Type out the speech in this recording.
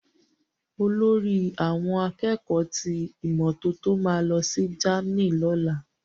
Olórí àwọn akẹ́kọ̀ọ́ ti ìmọ́tótó ma lọ sí ilẹ Germany loni.